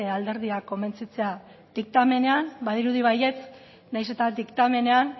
alderdiak konbentzitzea diktamenean badirudi baietz nahiz eta diktamenean